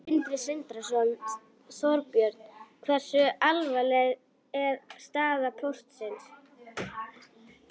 Sindri Sindrason: Þorbjörn, hversu alvarleg er staða Póstsins?